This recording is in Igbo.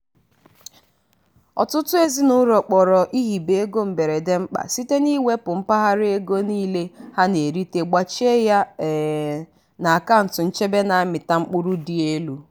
ọtụtụ ezinụlọ kpọrọ ihibe ego mberede mkpa site n'iwepụta mpaghara ego niile ha na-erita gbachie ya um n'akaụntụ nchebe na-amịta mkpụrụ dị elu.